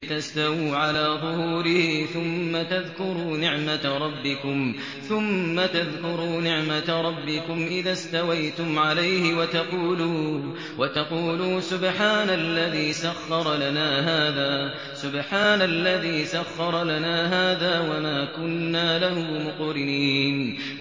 لِتَسْتَوُوا عَلَىٰ ظُهُورِهِ ثُمَّ تَذْكُرُوا نِعْمَةَ رَبِّكُمْ إِذَا اسْتَوَيْتُمْ عَلَيْهِ وَتَقُولُوا سُبْحَانَ الَّذِي سَخَّرَ لَنَا هَٰذَا وَمَا كُنَّا لَهُ مُقْرِنِينَ